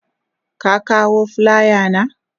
Ka kawo filaya na?